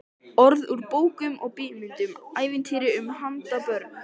Orð úr bókum og bíómyndum, ævintýrum handa börnum.